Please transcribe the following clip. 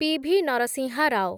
PV. Narasimha Rao